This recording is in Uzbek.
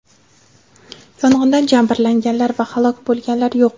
Yong‘indan jabrlanganlar va halok bo‘lganlar yo‘q.